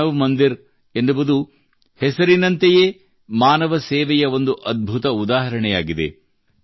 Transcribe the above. ಮಾನವ್ ಮಂದಿರ್ ಎನ್ನುವುದು ಹೆಸರಿನಂತೆಯೇ ಮಾನವ ಸೇವೆಯ ಒಂದು ಅದ್ಭುತ ಉದಾಹರಣೆಯಾಗಿದೆ